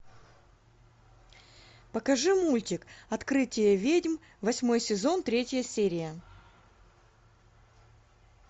покажи мультик открытие ведьм восьмой сезон третья серия